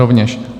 Rovněž.